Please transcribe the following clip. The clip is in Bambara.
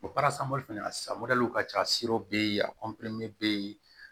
O fana ka ca bɛ yen a bɛ yen